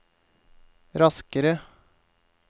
raskere